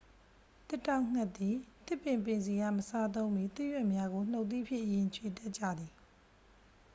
သစ်တောက်ဌက်သည် သစ်ပင်ပင်စည်အား မစားသုံးမီ သစ်ရွက်များကို နူတ်သီးဖြင့်အရင် ခြွေတတ်ကြသည်